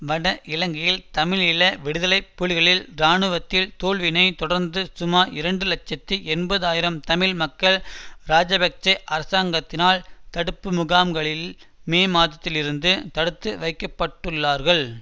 வட இலங்கையில் தமிழீழ விடுதலை புலிகளில் இராணுவ தோல்வினைத் தொடர்ந்து சுமார் இரண்டு இலட்சத்தி எண்பது ஆயிரம் தமிழ் மக்கள் இராஜபக்ஷ அரசாங்கத்தினால் தடுப்பு முகாம்களில் மே மாதத்தில் இருந்து தடுத்து வைக்க பட்டுள்ளார்கள்